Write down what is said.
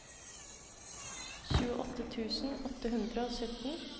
tjueåtte tusen åtte hundre og sytten